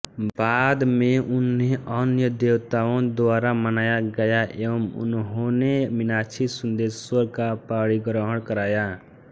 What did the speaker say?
बाद में उन्हें अन्य देवताओं द्वारा मनाया गया एवं उन्होंने मीनाक्षीसुन्दरेश्वरर का पाणिग्रहण कराया